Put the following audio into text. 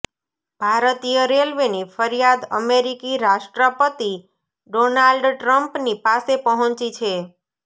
ભારતીય રેલવેની ફરિયાદ અમેરિકી રાષ્ટ્રપતિ ડોનાલ્ડ ટ્રમ્પની પાસે પહોંચી છે